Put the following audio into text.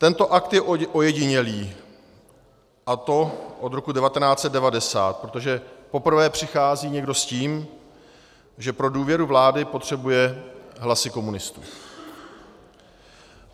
Tento akt je ojedinělý, a to od roku 1990, protože poprvé přichází někdo s tím, že pro důvěru vlády potřebuje hlasy komunistů.